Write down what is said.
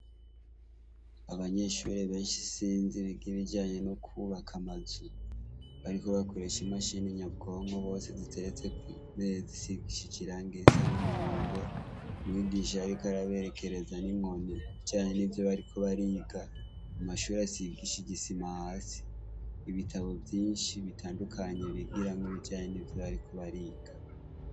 Abanyeshure benshi isinzi biga ibijanye no kubaka amazu bariko bakoresha imashine nyabwonko ziteretse kwimeza hasize irangi risa numuhondo umwigisha ariko arabekereza ninkoni mubijanye nivyo bariko bariga amashure asigishije isima hasi ibitabo vyinshi bitandukanye bigiramwo ibijanye nivyo bariko bariga